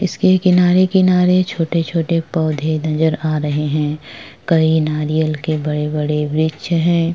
इसके किनारे-किनारे छोटे-छोटे पोंधे नजर आ रहे है। कई नारियल के बड़े-बड़े वृक्ष है।